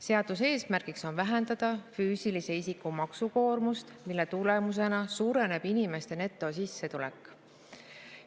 Seaduse eesmärk on vähendada füüsilise isiku maksukoormust, mille tulemusena suureneb inimeste netosissetulek.